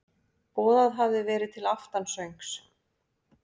Boðað hafði verið til aftansöngs.